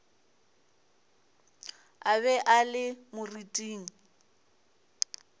a be a le moriting